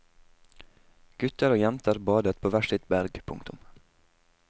Gutter og jenter badet på hvert sitt berg. punktum